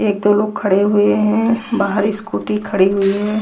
एक दो लोग खड़े हुए हैं बाहर स्कूटी खड़ी हुई है।